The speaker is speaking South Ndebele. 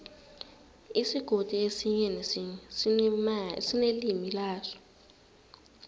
isigodi esinye nesinye sinelimi laso